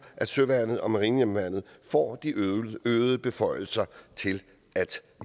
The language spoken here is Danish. at søværnet og marinehjemmeværnet får de øgede beføjelser til at